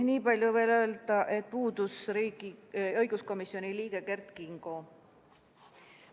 Nii palju veel ka, et puudus õiguskomisjoni liige Kert Kingo.